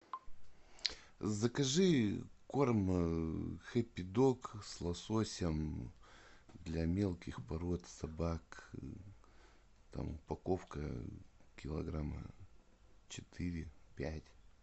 закажи корм хэппи дог с лососем для мелких пород собак там упаковка килограмма четыре пять